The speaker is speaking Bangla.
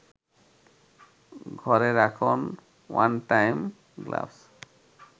ঘরে রাখুন ওয়ানটাইম গ্লাভস